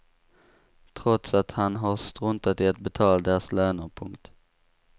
Trots att han har struntat i att betala deras löner. punkt